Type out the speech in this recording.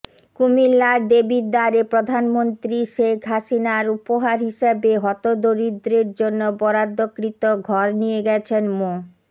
কুমিল্লার দেবিদ্বারে প্রধানমন্ত্রী শেখ হাসিনার উপহার হিসেবে হতদরিদ্রের জন্য বরাদ্দকৃত ঘর নিয়ে গেছেন মো